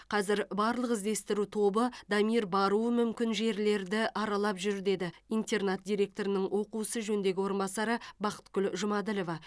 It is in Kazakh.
қазір барлық іздестіру тобы дамир баруы мүмкін жерлерді аралап жүр деді интернат директорының оқу ісі жөніндегі орынбасары бақытгүл жұмаділова